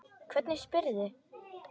Hvernig spyrðu.